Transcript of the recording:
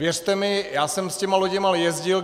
Věřte mi, já jsem s těmi loděmi jezdil.